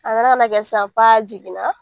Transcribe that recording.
A nana ka na kɛ sisan k'a jiginna